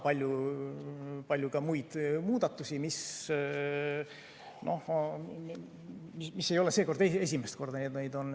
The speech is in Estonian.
Palju on ka muid muudatusi, mis ei ole seekord esimest korda.